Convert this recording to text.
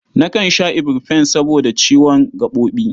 Nakan sha iburfen saboda ciwon gaɓoɓi.